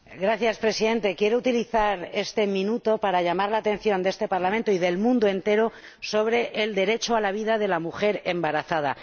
Señor Presidente, quiero utilizar este minuto para llamar la atención de este Parlamento y del mundo entero sobre el derecho a la vida de la mujer embarazada.